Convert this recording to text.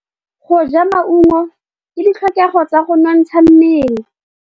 Go ja maungo ke ditlhokegô tsa go nontsha mmele.